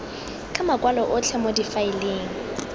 ka makwalo otlhe mo difaeleng